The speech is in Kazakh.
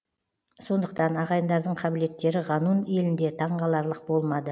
сондықтан ағайындардың қабілеттері ғанун елінде таңғаларлық болмады